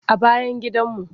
A bayan gidanmu.